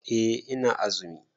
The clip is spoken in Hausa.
Eh ina azumi.